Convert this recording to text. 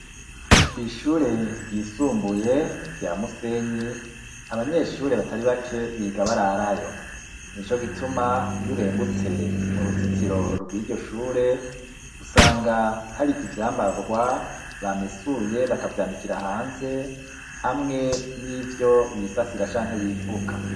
Kw'ishure ryisumbuye rya Musenyi, abanyeshure batari bake biga bararayo. Ni co gituma iyo urengutse mu ruzitiro rw'iryo shure, usanga hari ivyambarwa bamesuye bakavyanikira hanze, hamwe n'ivyo bisasira canke bifuka.